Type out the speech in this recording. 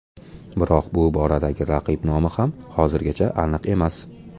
Biroq bu boradagi raqib nomi ham hozirgacha aniq emas.